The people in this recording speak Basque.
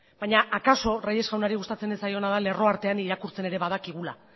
baina akaso reyes jaunari gustatzen ez zaiona da lerro artean irakurtzen ere badakigula